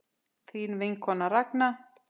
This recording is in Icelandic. Þín vinkona Ragna.